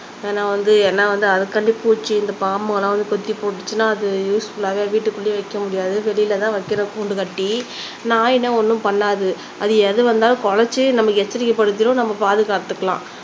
ஏன்னா வந்து என்ன வந்து அதுக்காண்டி பூச்சி, இந்த பாம்பு அதெல்லாம் வந்து கொத்தி போட்டுச்சுன்னா அது யூஸ்ஃபுல்லாவே வீட்டுக்குள்ளேயே வைக்க முடியாது வெளில தான் வைக்கணும் கூண்டு கட்டி நாய்ன்னா ஒன்னும் பண்ணாது அது எது வந்தாளும் குலைச்சு நம்மை எச்சரிக்கை படுத்திடும் நம்ம பாதுகாத்துக்கலாம்